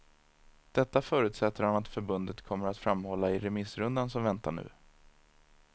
Detta förutsätter han att förbundet kommer att framhålla i remissrundan som väntar nu.